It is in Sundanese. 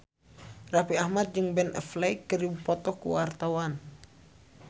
Raffi Ahmad jeung Ben Affleck keur dipoto ku wartawan